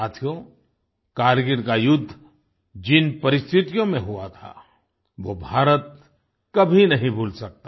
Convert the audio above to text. साथियो कारगिल का युद्ध जिन परिस्थितियों में हुआ था वो भारत कभी नहीं भूल सकता